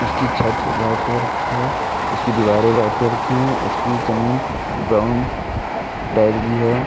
उसकी छत white colour की है। उसकी दीवारें व्हाइट कलर की हैं उसकी जमीन ब्राउन टाइल की है।